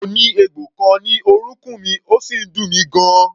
Mo ní egbò kan ní orúnkún mi, ó sì ń dùn mí gan-an.